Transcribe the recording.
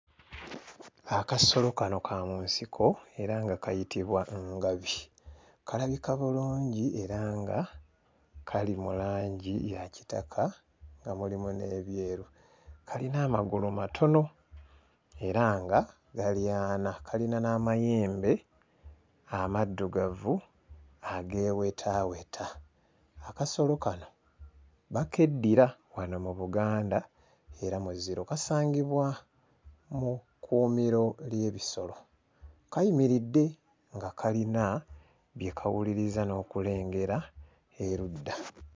Akasolo kano ka mu nsiko era nga kayitibwa ngabi kalabika bulungi era nga kali mu langi ya kitaka nga mulimu n'ebyeru kalina amagulu matono era nga gali ana kalina n'amayembe amaddugavu ageewetaaweta. Akasolo kano bakeddira wano mu Buganda era muziro. Kasangibwa mu kkuumiro ly'ebisolo. Kayimiridde nga kalina bye kawuliriza n'okulengera erudda.